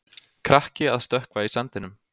Krakki að stökkva í sandinum.